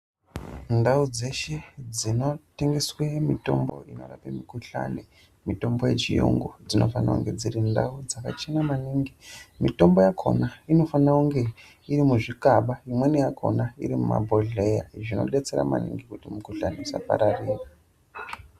Ndau dzeshe dzinotengeswa mitombo inorape mikhuhlane mitombo yechiyungu dzinofana kunge dziri ndau dzakachena maningi. Mitombo yakona inofana kunge iri muzvikaba imweni yakona iri mumabhohleya zvinodetsera maningi kuti mikhuhlane isapararira.